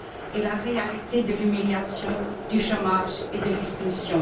et la réalité de l'humiliation, du chômage et de l'exclusion.